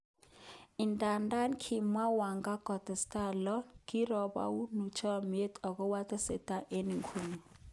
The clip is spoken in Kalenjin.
Idadan kimwa Wenga kasta lo:kiroboru chomiet okwo tesetai okonuke.